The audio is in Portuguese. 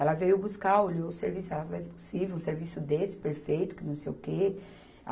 Ela veio buscar, olhou o serviço, ela falou, é impossível um serviço desse, perfeito, que não sei o quê.